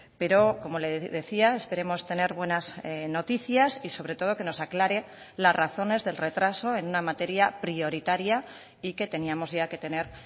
pero como le decía esperemos tener buenas noticias y sobre todo que nos aclare las razones del retraso en una materia prioritaria y que teníamos ya que tener